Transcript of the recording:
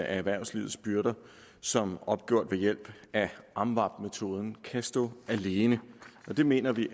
erhvervslivets byrder som opgjort ved hjælp af amvab metoden kan stå alene det mener vi